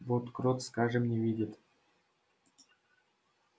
вот крот скажем не видит